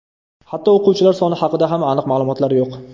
Hatto o‘quvchilar soni haqida ham aniq ma’lumotlar yo‘q.